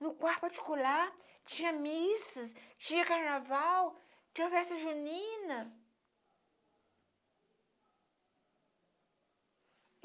No quarto particular, tinha missas, tinha carnaval, tinha festa junina.